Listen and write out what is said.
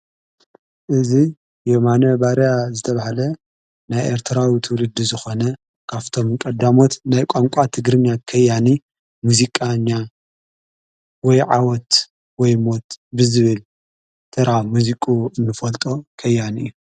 እዝ የማነ ባርያ ዝተብሃለ ናይ ኤርተራዊ ትውልዲ ዝኾነ ካፍቶም ቀዳሞት ናይ ቋንቋቲ ግርምያ ከያኒ ሙዚቃኛያ ወይዓወት ወይሞት ብዝብል ተራ ሙዚቁ እንፈልጦ ከያን እዩ።